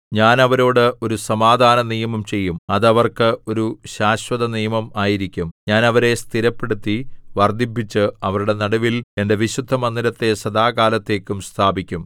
ഞാൻ അവരോട് ഒരു സമാധാനനിയമം ചെയ്യും അത് അവർക്ക് ഒരു ശാശ്വതനിയമം ആയിരിക്കും ഞാൻ അവരെ സ്ഥിരപ്പെടുത്തി വർദ്ധിപ്പിച്ച് അവരുടെ നടുവിൽ എന്റെ വിശുദ്ധമന്ദിരത്തെ സദാകാലത്തേക്കും സ്ഥാപിക്കും